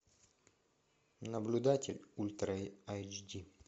наблюдатель ультра айч ди